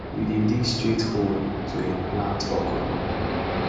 we dey dig straight hole to um plant okra